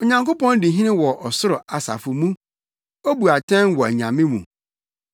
Onyankopɔn di hene wɔ ɔsoro asafo mu; obu atɛn wɔ “anyame” mu.